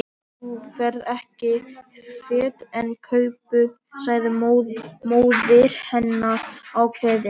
Þú ferð ekki fet án kápu sagði móðir hennar ákveðin.